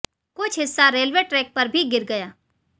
कुछ हिस्सा railway track पर भी गिर गया